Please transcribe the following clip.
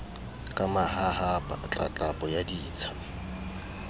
ka mahahapa tlatlapo ya ditsha